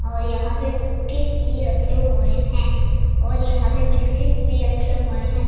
और यहां पे कुकीज भी रखे हुए हैं और यहां पे बिस्किट्स भी रखे हुए हैं।